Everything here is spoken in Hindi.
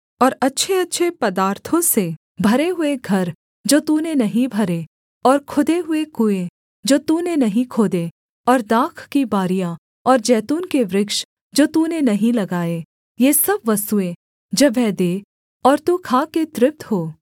और अच्छेअच्छे पदार्थों से भरे हुए घर जो तूने नहीं भरे और खुदे हुए कुएँ जो तूने नहीं खोदे और दाख की बारियाँ और जैतून के वृक्ष जो तूने नहीं लगाए ये सब वस्तुएँ जब वह दे और तू खाके तृप्त हो